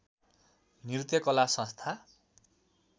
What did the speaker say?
नृत्य कला संस्था